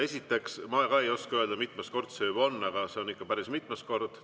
Esiteks, ma ka ei oska öelda, mitmes kord see juba on, aga see on ikka päris mitmes kord.